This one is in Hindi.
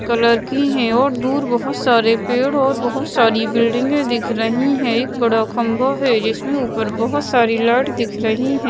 कलर की हैं और दूर बहोत सारे पेड़ और बहोत सारी बिल्डिंगें दिख रही हैं एक बड़ा खंभ है जिसमें ऊपर बहोत सारी लाइट दिख रही हैं।